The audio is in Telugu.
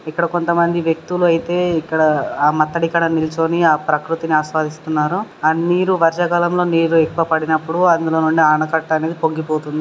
ఇక్కడ కొంత మంది వ్యక్తులు అయితే ఇక్కడ నిల్చోని ఆ ప్రకృతిని ఆస్వాదిస్తున్నారు. ఆ నీరు వర్షకాలం లో నీరు యెక్కువ పాడినపుడు అంధులో నుండి అనకట్టా అనేది పొంగి పోతుంది.